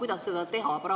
Kuidas seda teha?